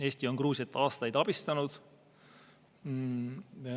Eesti on Gruusiat aastaid abistanud.